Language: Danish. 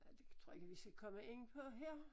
Det tror jeg ikke vi skal komme ind på her